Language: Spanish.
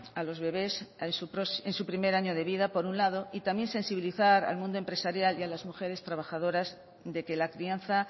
a los bebes en su primer año de vida por un lado y también sensibilizar al mundo empresarial y a las mujeres trabajadoras de que la crianza